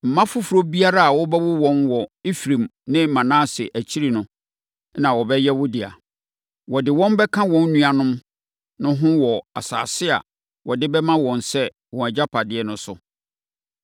Mma foforɔ biara a wobɛwo wɔn wɔ Efraim ne Manase akyiri no na wɔbɛyɛ wo dea. Wɔde wɔn bɛka wɔn nuanom no ho wɔ asase a wɔde bɛma wɔn sɛ wɔn agyapadeɛ no so.